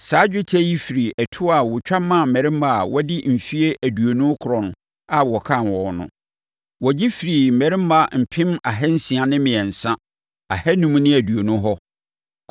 Saa dwetɛ yi firi ɛtoɔ a wɔtwa maa mmarima a wɔadi mfeɛ aduonu rekorɔ a wɔkan wɔn no. Wɔgye firii mmarima mpem ahansia ne mmiɛnsa, ahanum ne aduonum hɔ.